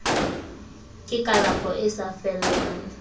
ke kalafo e sa fellang